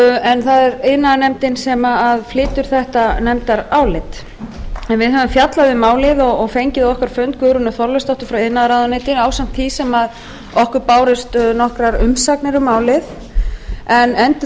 en það er iðnaðarnefndar sem flytur þetta nefndarálit en við höfum fjallað um málið og fengið á okkar fund guðrúnu þorleifsdóttur frá iðnaðarráðuneyti ásamt því sem okkur bárust nokkrar umsagnir um málið en